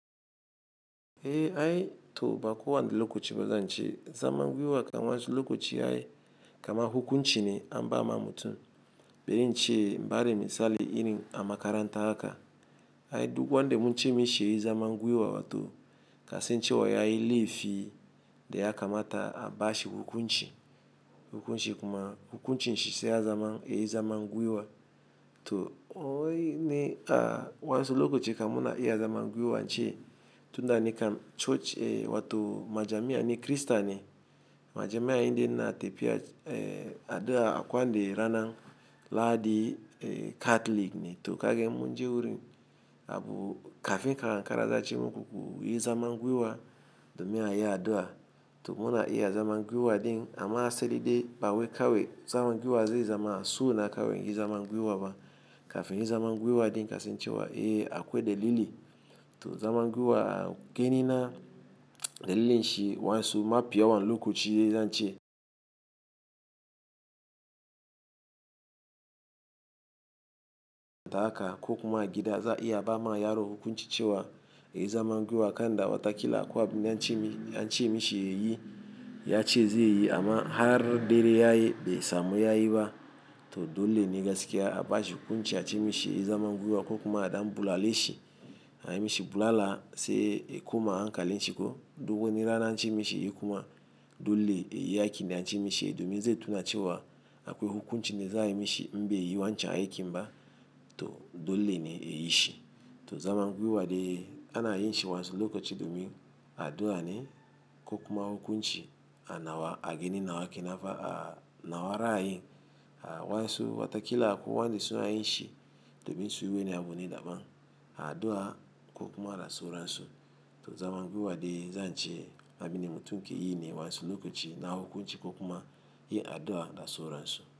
Eh aye to ba ko wani lokachi ba zanchi. Zaman gwiwa kaman wansu lokuchi aye kaman hukunchi ne amba ma mutum. Bari ince in bada misali irin a makaranta haka Aye duk wanda munche misheyi zaman gwiwa wato kasan chiwa yayi lefi de ya kamata abashi hukunchi. Hukunchi kuma hukunchin shise ya zama yayi zaman gwiwa. To oyi ne ka wansu lokuchi ka muna i ya zaman gwiwan chi. Tunda ni ka church eh wato majamiya ni krista ni majamiya indai ina tafiya eh adua ako wani rana. Lahadi eh catholic ni to kage munji wurin abu kafin ka ankara za ace muku kuyi zaman gwiwa domin ai adua to muna iya zaman gwiwa din amma sai dai bawai kawai zaman gwiwa zai zama su na kawai inyi zaman gwiwa ba. Kafin inyi zaman gwiwa din kasan cewa eh akwai dalili to zaman gwiwa gani na dalilin shi wansu mafi yawan lokaci ze zan chi. Ta ka kokuma gida za i ya ba ma yaro hukunchi cewa yayi zaman gwiwa kanda wata kila akwa abin da ance mishi yayi ya che ze yi amma har dare yayi be samu yayi ba to dole ni gaskiya abashi hukunchi ya chi misheyi zaman gwiwa kokuma adan bulale shi. Aye misheyi bulala se ekuma ankalin chiko dukwani rana anchi mishi yayi kuma dole yayi aikin da anchi misheyi domi ze tuna chewa akwe hukunchi ne za aye misheyi inbe yi wanchan aikin ba to dole ni eyi shi. To zaman gwiwa de ana yin chi wansu lokuchi domi adua ni kokuma hukunchi anawa agani nawa kenanfa a nawa ra aye a wansu wata kila akwa wande su aye nchi domi su yi wune abu ni daban a adua kokuma da so ransu. To zaman gwiwa de zan chi abini mutum ke yi ni wansu lokuchi na hukunchi kokuma yi adua da so ransu.